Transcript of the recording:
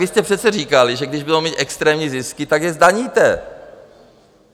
Vy jste přece říkali, že když budou mít extrémní zisky, tak je zdaníte.